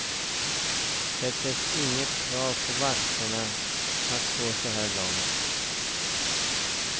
Det finns inget krav på vakterna att gå så här långt.